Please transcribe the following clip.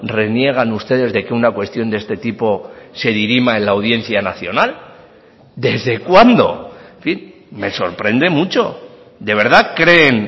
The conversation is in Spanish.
reniegan ustedes de que una cuestión de este tipo se dirima en la audiencia nacional desde cuándo en fin me sorprende mucho de verdad creen